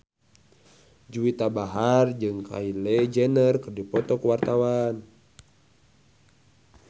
Juwita Bahar jeung Kylie Jenner keur dipoto ku wartawan